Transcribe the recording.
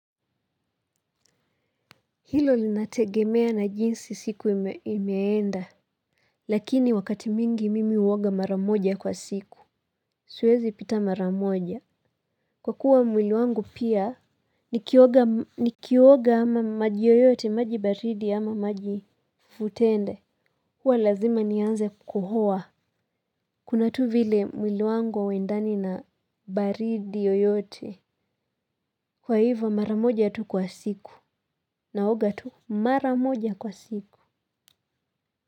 Hilo linategemea na jinsi siku imeenda. Lakini wakati mwingi mimi huoga mara moja kwa siku. Suezi pita maramoja. Kwa kuwa mwili wangu pia, ni kioga ama maji yoyote, maji baridi ama maji fufutende. Kwa lazima nianze kukohoa. Kuna tu vile mwili wangu hauendani na baridi yoyote. Kwa hivyo mara moja tu kwa siku. Naoga tu mara moja kwa siku.